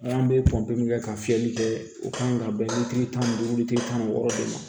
An bɛ kɛ ka fiyɛli kɛ u kan ka bɛn litiri tan ni duuru tile tan ni wɔɔrɔ de ma